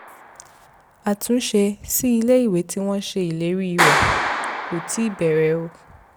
àtúnṣe sí ilé-ìwé tí wọ́n ṣe ìlérí rẹ̀ ò tíì bẹ̀rẹ̀